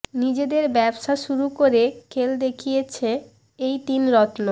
নিজেদের ব্যবসা শুরু করে খেল দেখিয়েছে এই তিন রত্ন